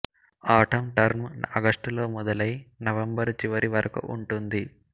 atom term ఆగస్టులో మొదలై November చివరి వరకు ఉంటుంది